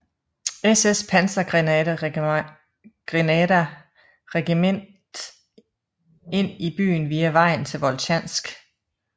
SS pansergrenaderregiment ind i byen via vejen til Voltjansk